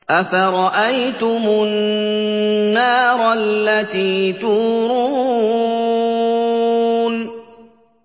أَفَرَأَيْتُمُ النَّارَ الَّتِي تُورُونَ